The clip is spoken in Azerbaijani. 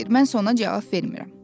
mən isə ona cavab vermirəm.